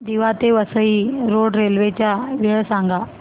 दिवा ते Vasai road railway च्या वेळा सांगा